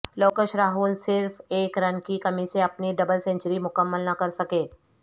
لوکش راہل صرف ایک رن کی کمی سے اپنی دبل سینچری مکمل نہ کر سکے